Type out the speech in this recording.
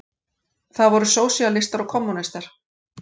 Það voru sósíalistar og kommúnistar.